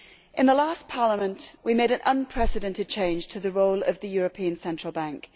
In the last Parliament we made an unprecedented change to the role of the European Central Bank.